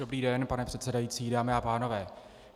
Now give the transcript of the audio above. Dobrý den, pane předsedající, dámy a pánové.